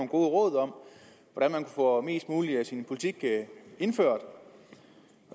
gode råd om hvordan man får mest mulig af sin politik indført